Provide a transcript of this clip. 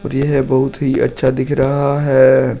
यह बहुत ही अच्छा दिख रहा है।